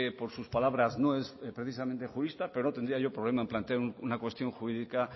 por sus palabras no es precisamente jurista pero no tendría yo problema en plantear una cuestión jurídica